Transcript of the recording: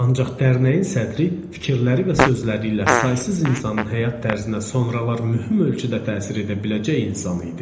Ancaq dərnəyin sədri fikirləri və sözləri ilə saysız insanın həyat tərzinə sonralar mühüm ölçüdə təsir edə biləcək insan idi.